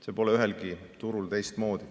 See pole ühelgi turul teistmoodi.